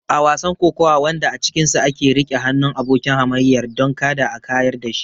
A wasan kokawa wanda a cikinsa ake riƙe hannun abokin hamayyar don kada a kayar da shi.